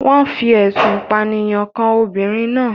Wọ́n fi ẹ̀sùn ìpànìyàn kan ọmọbìnrin náà.